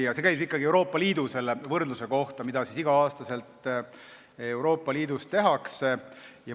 See oli ikkagi Euroopa Liidu võrdlus, mida iga aasta Euroopa Liidus tehakse.